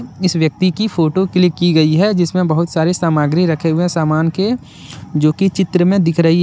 इस व्यक्ति की फोटो क्लिक की गई है जिसमें बहोत सारी सामग्री रखे हुए सामान के जो की चित्र में दिख रही है।